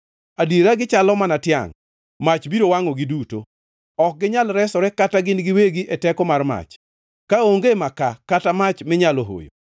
Adiera gichalo mana tiangʼ, mach biro wangʼogi duto. Ok ginyal resore kata gin giwegi e teko mar mach. Kaonge makaa kata mach minyalo hoyo.